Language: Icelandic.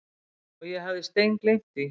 Og ég hafði steingleymt því.